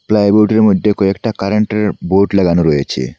প্লাইউডের মইদ্যে কয়েকটা কারেন্টের বোর্ড লাগানো রয়েছে।